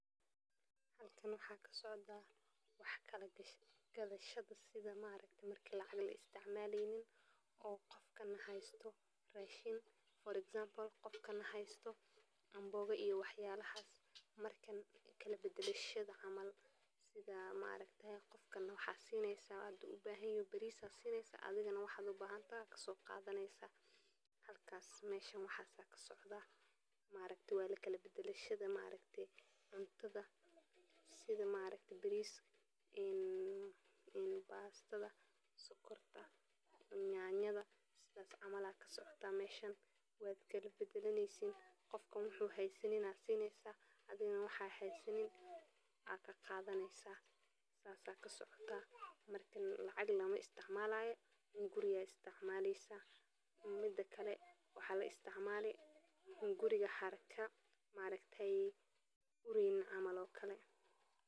Halkan waxaa ka socdaa wax kala gadhasha sida maaragt marka lacag la isticmaleynin oo qofkan haysto raashin for example qokan haysto ambooga iyo wax waxaa loo isticmaalaa marka ay jiraan baahi isweydaarsiga oo ay dadku rabaan in ay isku qanciyaan iyagoo ka fogeynaya dhibaatooyinka lacagta, sidaas awgeed barter waxaa uu noqon karaa mid aad u faa'iido badan marka ay jiraan shuruudo la wada ogsoon yahay oo ay isku fahmi waayaan labada dhinac, gaar ahaan goobaha aan wadaha ganacsiga caadiga ah ku iman, sida tuulooyinka qaarkaa oo aan lahayn isticmaalka lacagta casriga ah